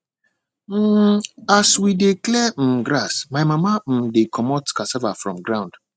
um as we dey clear um grass my mama um dey comot cassava from ground